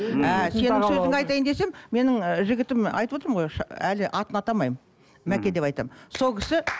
ыыы сенің сөзің айтайын десем менің ы жігітім айтып отырмын ғой әлі атын атамаймын мәке деп айтамын сол кісі